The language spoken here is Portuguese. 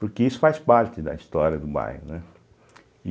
Porque isso faz parte da história do bairro, né?